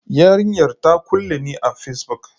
Yarinyar ta kulle ni a Facebook.